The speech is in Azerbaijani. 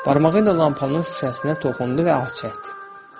Barmağı ilə lampanın şüşəsinə toxundu və ah çəkdi.